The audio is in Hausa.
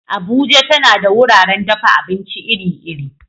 Abuja tana da wuraren dafa abinci iri-iri.